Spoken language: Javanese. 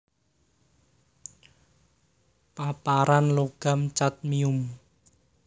Paparan logam cadmium